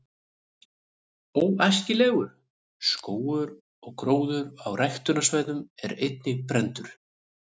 „óæskilegur“ skógur og gróður á ræktunarsvæðum er einnig brenndur